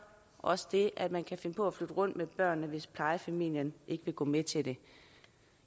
også det at man kan finde på at flytte rundt med børnene hvis plejefamilien ikke vil gå med til det